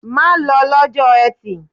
Má lọ lọ́jọ́ Etì!